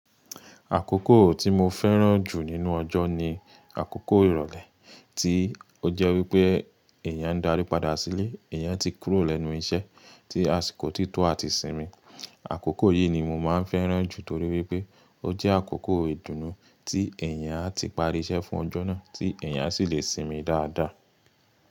Àkókò tí mo fẹ́ràn jù nínú ọjọ́ ni àkókò ìrọ̀lẹ́ tí ó jẹ́ wípé èèyàn ń darí padà sílé, èèyàn ti kúrò lẹ́nu iṣẹ́ tí a sì kò tí tọ́ à ti sinmi. Àkókò yìí ni mo máa ń fẹ́ràn jù torí wípé ó jẹ́ àkókò ìdùnnú tí èèyàn á ti parí iṣẹ́ fún ọjọ́ náà tí èèyàn á sì le sinmi dáadáa.